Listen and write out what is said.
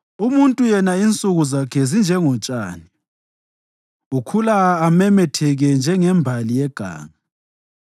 Umuntu yena insuku zakhe zinjengotshani, ukhula amemetheke njengembali yeganga;